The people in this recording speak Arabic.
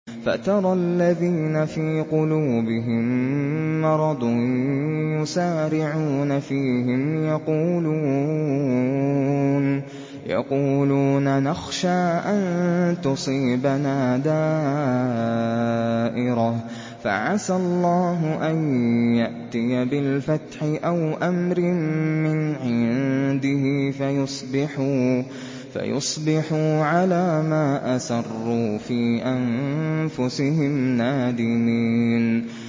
فَتَرَى الَّذِينَ فِي قُلُوبِهِم مَّرَضٌ يُسَارِعُونَ فِيهِمْ يَقُولُونَ نَخْشَىٰ أَن تُصِيبَنَا دَائِرَةٌ ۚ فَعَسَى اللَّهُ أَن يَأْتِيَ بِالْفَتْحِ أَوْ أَمْرٍ مِّنْ عِندِهِ فَيُصْبِحُوا عَلَىٰ مَا أَسَرُّوا فِي أَنفُسِهِمْ نَادِمِينَ